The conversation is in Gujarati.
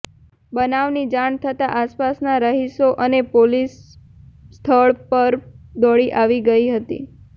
બનાવની જાણ થતાં આસપાસના રહિશો અને પોલીસ સ્થળ પર દોડી આવી ગઇ હતી